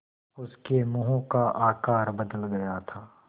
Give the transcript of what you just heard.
उसके मुँह का आकार बदल गया था